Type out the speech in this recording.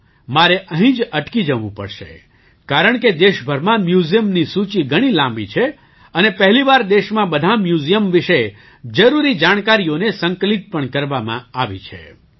ચાલો મારે અહીં જ અટકી જવું પડશે કારણકે દેશભરમાં મ્યૂઝિયમની સૂચિ ઘણી લાંબી છે અને પહેલી વાર દેશમાં બધાં મ્યૂઝિયમ વિશે જરૂરી જાણકારીઓને સંકલિત પણ કરવામાં આવી છે